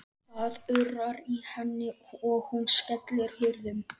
Það urrar í henni og hún skellir hurðum.